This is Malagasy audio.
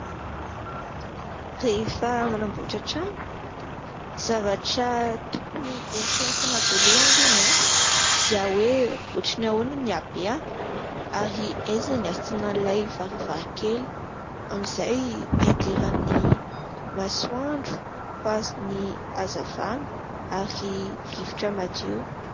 Rehefa manamboatra trano, zavatra tokony eritreretina voalohany alohany dia hoe: ohatran'ny ahoana ny habeany? Ary aiza ny asiana ilay varavarakely? Amin'izay hidiran'ny masoandro, fa ny hazavana ary rivotra madio.